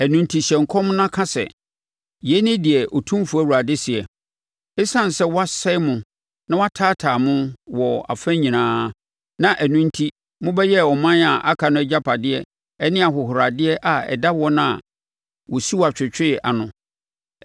Ɛno enti, hyɛ nkɔm na ka sɛ, ‘Yei ne deɛ Otumfoɔ Awurade seɛ: Esiane sɛ wɔasɛe mo na wɔataataa mo wɔ afa nyinaa, na ɛno enti mobɛyɛɛ aman a aka no agyapadeɛ ne ahohoradeɛ a ɛda wɔn a wɔsi wo atwetwe ano,